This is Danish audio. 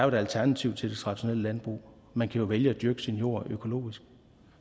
et alternativ til det traditionelle landbrug man kan jo vælge at dyrke sin jord økologisk